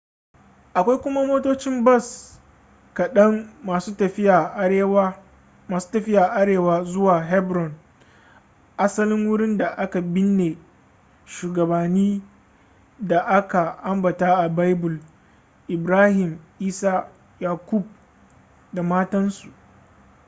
akwai kuma motocin bas kaɗan masu tafiya arewa zuwa hebron asalin wurin da aka binne shugabanni da aka ambata a baibul ibrahim isa yakub da matansu